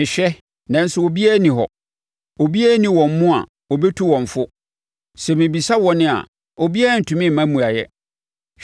Mehwɛ nanso obiara nni hɔ, obiara nni wɔn mu a ɔbɛtu wɔn fo, sɛ mebisa wɔn a, obiara ntumi mma mmuaeɛ.